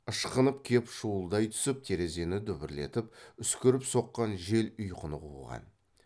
ышқынып кеп шуылдай түсіп терезені дүбірлетіп үскіріп соққан жел ұйқыны қуған